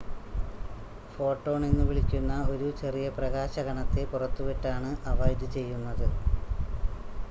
photon എന്നുവിളിക്കുന്ന ഒരു ചെറിയ പ്രകാശ കണത്തെ പുറത്തുവിട്ടാണ് അവ ഇത് ചെയ്യുന്നത്